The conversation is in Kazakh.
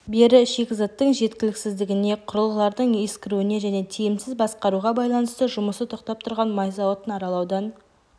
бері шикізаттың жеткіліксіздігіне құрылғылардың ескіруіне және тиімсіз басқаруға байланысты жұмысы тоқтап тұрған май зауытын аралаудан